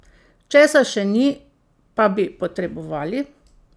Česa še ni, pa bi potrebovali?